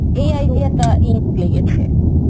এই idea টা unique লেগেছে.